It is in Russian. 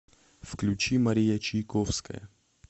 включи мария чайковская